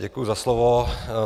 Děkuji za slovo.